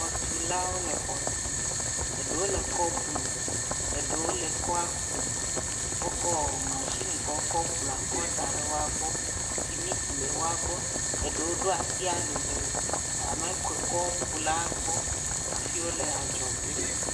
Xɔtulawo le xɔtum. Eɖewo le kɔ blum. Eɖewo le kɔa kum. Wokɔ mashini yi ke wokɔ blua kɔ kɔ da ɖe woagbɔ, simiti le woagbɔ. Eɖewo ɖo asi ali le ame ke kɔkula kpɔ hafi wole adzɔge.